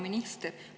Hea minister!